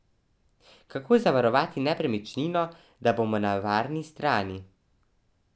Kako zavarovati nepremičnino, da bomo na varni strani?